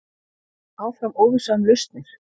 Áfram óvissa um lausnir